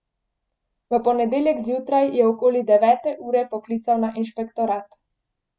V ponedeljek zjutraj je okoli devete ure poklical na inšpektorat.